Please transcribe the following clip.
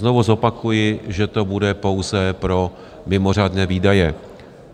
Znovu zopakuji, že to bude pouze pro mimořádné výdaje.